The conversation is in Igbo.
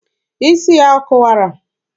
Isi ya ọ kụwara?